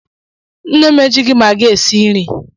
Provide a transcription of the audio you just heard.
Nne m ejighi magi esị nri.